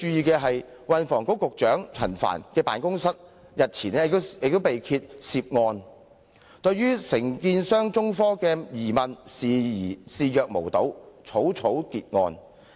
據報局長辦公室對分判商中科興業有限公司早前提出有關沙中線的疑問視若無睹，草草結案。